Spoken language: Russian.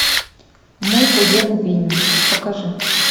мой кузен винни покажи